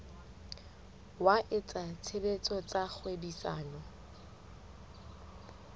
wa etsa tshebetso tsa kgwebisano